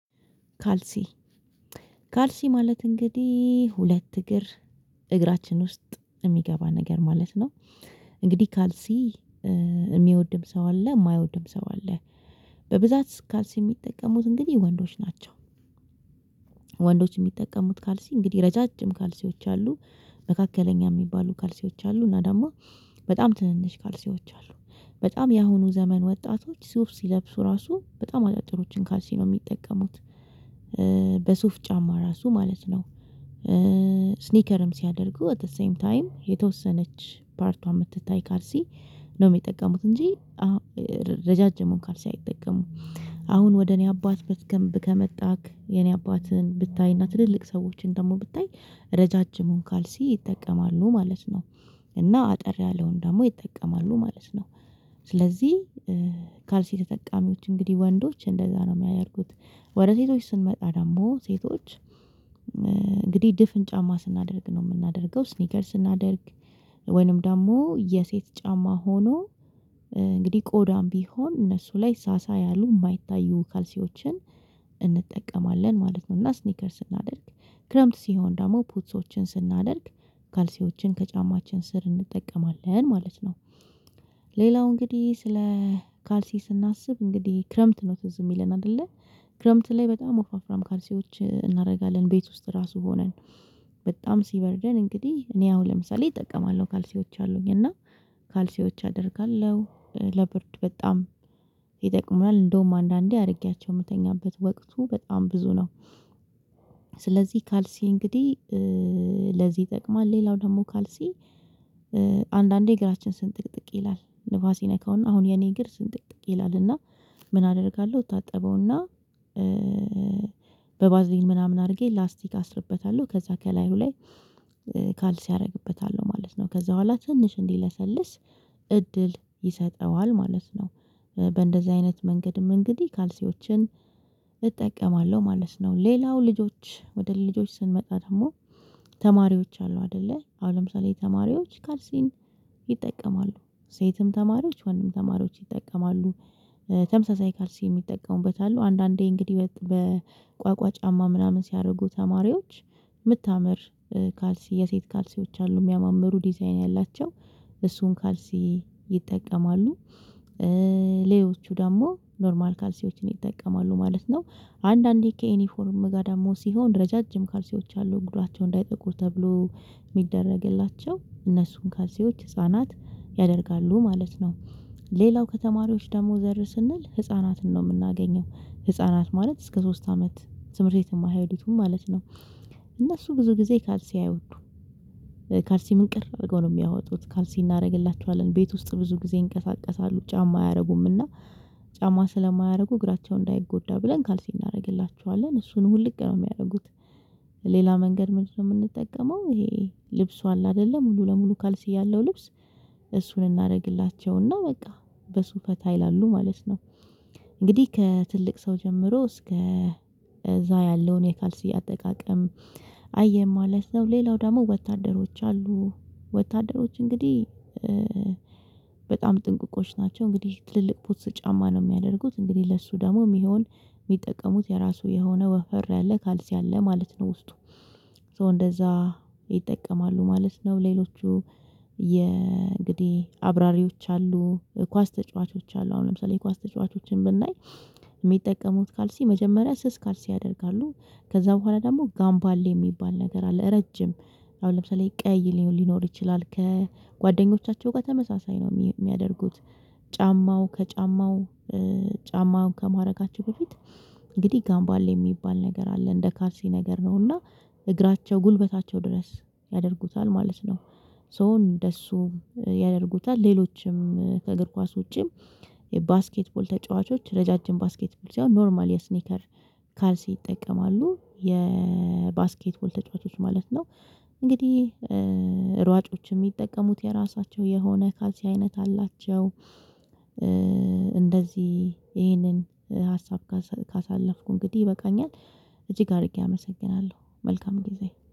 ካልሲ፣ ካልሲ ማለት እንግዲህ ሁለት እግር እግራችን ውስጥ የሚገባ ነገር ማለት ነው። እንግዲህ ካልሲ የሚወድም ሰው አለ የማይወድም ሰው አለ በብዛት ካልሲ የሚጠቀሙት እንግዲህ ወንዶች ናቸው። ወንዶች የሚጠቀሙት ካልሲ እንግዲህ ረጃጅም ካልሲዎች አሉ መካከለኛ የሚባሉ ካልሲዎች አሉ፤ እና ደግሞ በጣም ትንንሽ ካልሲዎች አሉ። በጣም የአሁኑ ዘመን ወጣቶች ሱፍ ሲለብሱ ራሱ በጣም አጫጭሮችን ካልሲ ነው የሚጠቀሙት። በሱፍ ጫማ ራሱ ማለት ነው። ስኒከርም ሲያደርጉ አት ዘ ሴም ታይም የተወሰነች ፓርቷ የምትታይ ካልሲ ነው የሚጠቀሙት እንጂ ረጃጅ ካልሲ አይጠቀሙም። አሁን ወደ እኔ አባት በትገንብ ከመጣክ የኔ አባትን ብታይና ትልልቅ ሰዎችን ደግሞ ብታይ ረጃጅሙን ካልሲ ይጠቀማሉ ማለት ነው። እና አጠር ያለውን ደግሞ ይጠቀማሉ ማለት ነው። ስለዚህ ካልሲ ተጠቃሚዎች እንግዲህ ወንዶች እንደዛ ነው የሚያደርጉት። ወደ ሴቶች ስንመጣ ደግሞ ሴቶች እንግዲህ ድፍን ጫማ ስናደርግ ነው የምናደርገው ስኒከር ስናደርግ ወይንም ደግሞ የሴት ጫማ ሆኖ እንግዲህ ቆዳም ቢሆን እነሱ ላይ ሳሳ ያሉ የማይታዩ ካልሲዎችን እንጠቀማለን ማለት ነው፤ እና ስኒከር ስናደርግ ክረምት ሲሆን ደግሞ ፑትሶችን ስናደርግ ካልሲዎችን ከጫማችን ስር እንጠቀማለን ማለት ነው። ሌላው እንግዲህ ስለ ካልሲ ስናስብ እንግዲህ ክረምት ነው ትዝ የሚለን አይደለ ክረምት ላይ በጣም ወፍራም ካልሲዎች እናደርጋለን ቤት ውስጥ ራሱ ሆነን በጣም ሲበርደን እንግዲህ እኔ አሁን ለምሳሌ እጠቀማለሁ ካልሲዎች አሉኝ እና ካልሲዎች አደርጋለሁ ለብርድ በጣም ይጠቅማል እንደውም አንዳንዴ አድርጌያቸው የምተኛበት ወቅቱ በጣም ብዙ ነው። ስለዚህ ካልሲ እንግዲህ ለዚህ ይጠቅማል። ሌላው ደግሞ ካልሲ አንዳንዴ እግራችን ስንጥቅጥቅ ይላል ንፋስ ይነካውና አሁን የኔ እግር ስንጥቅጥቅ ይላልና ምን አደርጋለሁ እታጠበውና በባዝሊን ምናምን አድርጌ ላስቲክ አስርበታለሁ ከዛ ከላዩ ላይ ካልሲ አደርግበታለሁ ማለት ነው። ከዛ በኋላ ትንሽ እንዲለሰልስ እድል ይሰጠዋል ማለት ነው። በእንደዚህ አይነት መንገድም እንግዲህ ካልሲዎችን እጠቀማለሁ ማለት ነው። ሌላው ልጆች ወደ ልጆች ስንመጣ ደግሞ ተማሪዎች አሉ አይደለ አሁን ለምሳሌ ተማሪዎች ካልሲን ይጠቀማሉ ሴትም ተማሪዎች ወንድም ተማሪዎች ይጠቀማሉ። ተመሳሳይ ካልሲ የሚጠቀሙበት አሉ አንዳንዴ እንግዲህ በቋቋ ጫማ ምናምን ሲያደርጉ ተማሪዎች የምታምር ካልሲ የሴት ካልሲዎች አሉ የሚያማምሩ ዲዛይን ያላቸው እሱን ካልሲ ይጠቀማሉ። ሌሎቹ ደግሞ ኖርማል ካልሲዎችን ይጠቀማሉ ማለት ነው። አንዳንዴ ከዩኒፎርም ጋር ደግሞ ሲሆን ረጃጅም ካልሲዎች ያሉ እግራቸው እንዳይጠቁር ተብሎ የሚደረግላቸው እነሱን ካልሲዎች ህፃናት ያደርጋሉ ማለት ነው። ሌላው ከተማሪዎች ደግሞ ዘር ስንል ህፃናትን ነው የምናገኘው። ህፃናት ማለት እስከ ሶስት አመት ትምህርት ቤት የማይሄዱትን ማለት ነው። እነሱ ብዙ ጊዜ ካልሲ አይወዱም። ካልሲ ምንቅር አድርገው ነው የሚያወጡት ካልሲ እናደርግላቸዋለን ቤት ውስጥ ብዙ ጊዜ ይንቀሳቀሳሉ ጫማ አያደርጉምና ጫማ ስለማያደርጉ እግራቸው እንዳይጎዳ ብለን ካልሴ እናደርግላቸዋለን እሱን ውልቅ ነው የሚያደርጉት ሌላ መንገድ ምንድነው የምንጠቀመው? ይሄ ልብሱ አለ አይደለም ሙሉ ለሙሉ ካልሲ ያለው ልብስ እሱን እናደርግላቸውና በቃ በሱ ፈታ ይላሉ ማለት ነው። እንግዲህ ከትልቅ ሰው ጀምሮ እስከ እዛ ያለውን የካልስ አጠቃቀም ቅየን ማለት ነው። ሌላው ደግሞ ወታደሮች አሉ ወታደሮች እንግዲህ በጣም ጥንቁቆች ናቸው እንግዲህ ትልልቅ ፖትስ ጫማ ነው የሚያደርጉት እንግዲህ ለሱ ደግሞ የሚሆን የሚጠቀሙት የራሱ የሆነ ወፈር ያለ ካልሲ አለ ማለት ነው ውስጡ እንደዛ ይጠቀማሉ ማለት ነው። ሌሎቹ የእንግዲህ አብራሪዎች አሉ፣ ኳስ ተጫዋቾች አሉ፣ አሁን ለምሳሌ የኳስ ተጫዋቾችን ብናይ የሚጠቀሙት ካልሲ መጀመሪያ ስስ ካልሲ ያደርጋሉ። ከዛ በኋላ ደግሞ ጋምባሌ የሚባል ነገር አለ ረጅም ለምሳሌ ቀይ ሊኖር ይችላል ከጓደኞቻቸው ጋር ተመሳሳይ ነው የሚያደርጉት ጫማው ከጫማው ጫማውን ከማድረጋቸው በፊት እንግዲህ ጋምባል የሚባል ነገር አለ እንደ ካልሲ ነገር ነው እና እግራቸው ጉልበታቸው ድረስ ያደርጉታል ማለት ነው። ሶ እንደሱ ያደርጉታል ሌሎችም ከእግር ኳስ ውጪም የባስኬትቦል ተጫዋቾች ረጃጅም ባስኬትቦል ሲሆን ኖርማል የስኒከር ካልሲ ይጠቀማሉ። የባስኬትቦል ተጫዋቾች ማለት ነው እንግዲህ ሯጮች የሚጠቀሙት የራሳቸው የሆነ ካልሲ አይነት አላቸው። እንደዚህ ይሄንን ሀሳብ ካሳ ካሳለፍኩ እንግዲህ ይበቃኛል እጅግ አድርጌ አመሰግናለው። መልካም ጊዜ